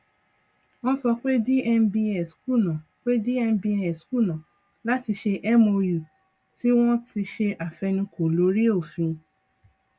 wọn sọ pé dmbs kùnà pé dmbs kùnà láti ṣe mou tí wọn ti ṣe àfẹnukò lórí òfin